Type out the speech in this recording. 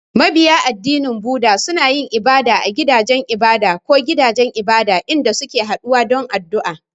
Mabiya addinin Buddah suna yin ibada a gidajen ibada ko gidajen ibada, inda suke haɗuwa don addu’a.